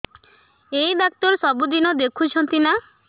ଏଇ ଡ଼ାକ୍ତର ସବୁଦିନେ ଦେଖୁଛନ୍ତି ନା